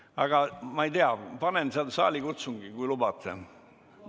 Aga ma panen tööle saalikutsungi, kui lubate.